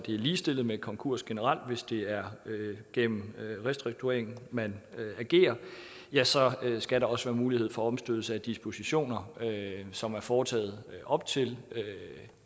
ligestillet med konkurs generelt hvis det er gennem restrukturering man agerer ja så skal der også være mulighed for omstødelse af dispositioner som er foretaget op til